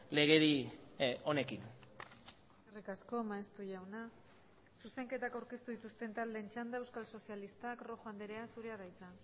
legedi honekin eskerrik asko maeztu jauna zuzenketak aurkeztu dituzten taldeen txanda euskal sozialistak rojo andrea zurea da hitza